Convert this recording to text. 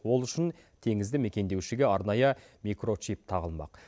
ол үшін теңізді мекендеушіге арнайы микрочип тағылмақ